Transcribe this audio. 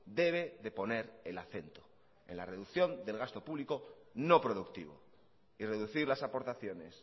debe de poner el acento en la reducción del gasto público no productivo y reducir las aportaciones